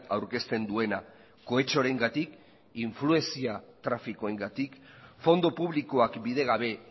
aurkezten duena kohetxoarengatik influentzia trafikoengatik fondo publikoak bidegabe